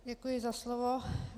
Děkuji za slovo.